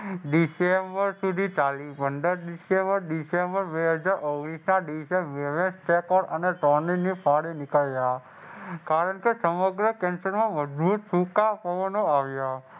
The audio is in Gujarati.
ડિસેમ્બર સુધી ચાલી પંદર ડિસેમ્બર ડિસેમ્બર બે હજાર ઓગણીસના દિવસે નીકળ્યા. કારણકે સમગ્ર મજબૂત સૂકા પવનો આવ્યા.